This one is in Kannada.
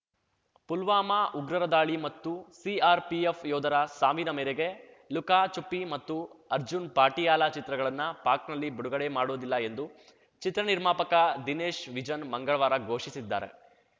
ಪುಲ್ವಾನಾ ಉಗ್ರರ ದಾಳಿ ಮತ್ತು ಸಿಆರ್‌ಪಿಎಫ್‌ ಯೋಧರ ಸಾವಿನ ಮೇರೆಗೆ ಲುಕಾ ಚುಪ್ಪಿ ಮತ್ತು ಅರ್ಜುನ್‌ ಪಾಟಿಯಾಲಾ ಚಿತ್ರಗಳನ್ನ ಪಾಕ್‌ನಲ್ಲಿ ಬಿಡುಗಡೆ ಮಾಡುವುದಿಲ್ಲ ಎಂದು ಚಿತ್ರನಿರ್ಮಾಪಕ ದಿನೇಶ್ ವಿಜನ್‌ ಮಂಗಳವಾರ ಘೋಷಿಸಿದ್ದಾರೆ